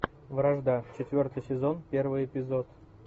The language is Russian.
вражда четвертый сезон первый эпизод